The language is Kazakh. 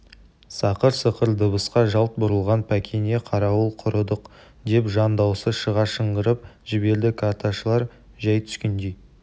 сақыр-сықыр дыбысқа жалт бұрылған пәкене қарауыл құрыдық деп жан дауысы шыға шыңғырып жіберді карташылар жай түскендей